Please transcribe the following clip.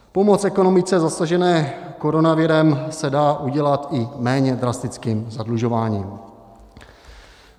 Pomoc ekonomice zasažené koronavirem se dá udělat i méně drastickým zadlužováním.